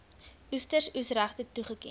oester oesregte toegeken